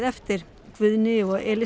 og Elíza Reid forsetafrú